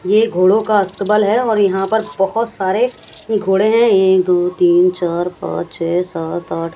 ये घोड़ा का अस्तबल है और यहां पर बहोत सारे घोड़े हैं एक दो तीन चार पांच छे सात आठ--